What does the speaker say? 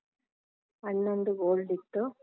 ಅಣ್ಣಂದು gold ಇತ್ತು.